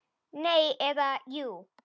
Nei. eða jú!